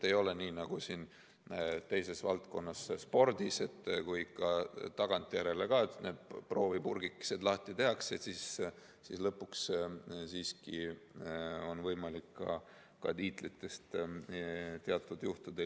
Ei ole nii, nagu on mõnes teises valdkonnas, näiteks spordis, et kui tagantjärele proovipurgikesed lahti tehakse, siis lõpuks on võimalik ka tiitlitest ilma jääda.